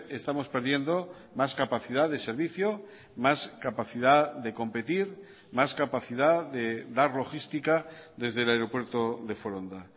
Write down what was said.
estamos perdiendo más capacidad de servicio más capacidad de competir más capacidad de dar logística desde el aeropuerto de foronda